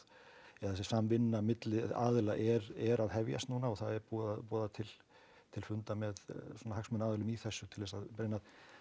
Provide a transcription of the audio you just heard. eða þessi samvinna milli aðila er er að hefjast núna og það er búið að boða til til fundar með svona hagsmunaaðilum í þessu til þess að reyna